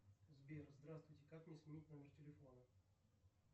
сбер здравствуйте как мне сменить номер телефона